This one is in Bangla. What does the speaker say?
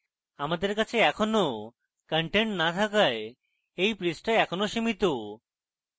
আমার কাছে এখনো content না থাকায় এই পৃষ্ঠা সামান্য সীমিত